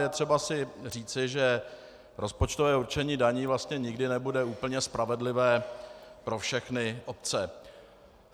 Je třeba si říci, že rozpočtové určení daní vlastně nikdy nebude úplně spravedlivé pro všechny obce.